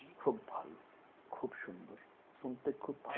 খুব ভালো খুব সুন্দর শুনতে খুব ভালো লাগছে